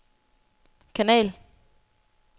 kanal